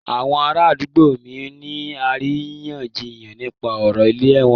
Àwọn ará àdúgbò mí ń ní àríyànjiyàn nípa ọ̀rọ̀ ìlẹ̀ wọn.